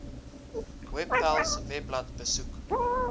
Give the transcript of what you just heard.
webpals webblad besoek